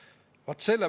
Lugupeetud juhataja!